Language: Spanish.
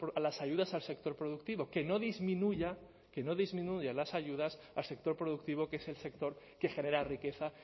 a las ayudas al sector productivo que no disminuya que no disminuya las ayudas al sector productivo que es el sector que genera riqueza